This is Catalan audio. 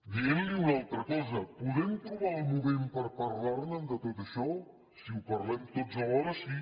dient li una altra cosa podem trobar el moment per parlar ne de tot això si ho parlem tots alhora sí